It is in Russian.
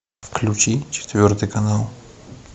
включи четвертый канал